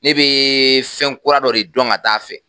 Ne bɛ fɛn kura dɔ de dɔn ka taa a fɛ